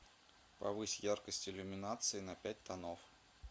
повысить яркость иллюминации на пять тонов